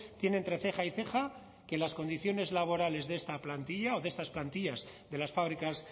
tiene entre ceja y ceja que las condiciones laborales de esta plantilla o de estas plantillas de las fábricas